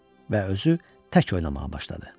Və özü tək oynamağa başladı.